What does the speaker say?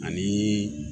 Ani